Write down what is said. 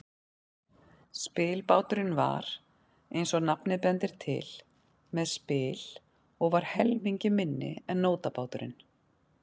Spilbáturinn var, eins og nafnið bendir til, með spil og var helmingi minni en nótabáturinn.